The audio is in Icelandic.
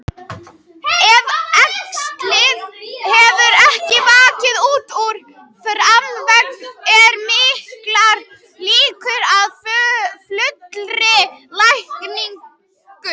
Ef æxlið hefur ekki vaxið út fyrir þarmavegginn eru miklar líkur á fullri lækningu.